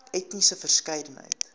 etniese verskeidenheid